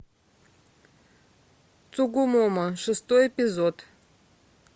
цугумомо шестой эпизод